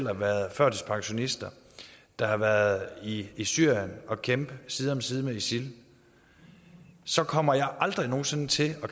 har været førtidspensionister der har været i i syrien og kæmpet side om side med isil så kommer jeg aldrig nogen sinde til